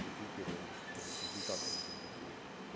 консультирую можем консультацию как нибудь устроить